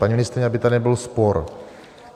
Paní ministryně, aby to nebyl spor.